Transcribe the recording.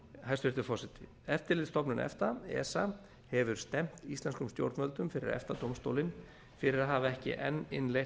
hæstvirtur forseti eftirlitsstofnun efta esa hefur stefnt íslenskum stjórnvöldum fyrir efta dómstólinn fyrir að hafa ekki enn innleitt endurtryggingatilskipun